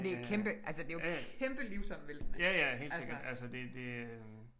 Ej det er kæmpe altså det er jo kæmpe livsomvæltning altså